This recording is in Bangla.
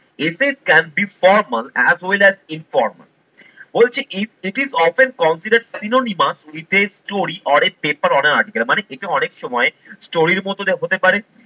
এতে can be formal as well as informal বলছে if it is often consider synonymous with a story or a paper on a article মানে এটা অনেক সময় story এর মতো দেখাতে পারে